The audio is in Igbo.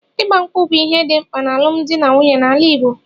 Igba nkwu bụ ihe dị mkpa n'alụmdi na nwunye na ala Igbo